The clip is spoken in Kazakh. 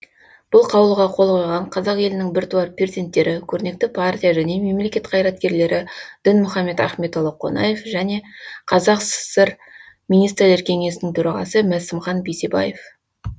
бұл қаулыға қол қойған қазақ елінің біртуар перзенттері көрнекті партия және мемлекет қайраткерлері дінмұхамет ахметұлы қонаев және қазақ сср министрлер кеңесінің төрағасы масімхан бейсебаев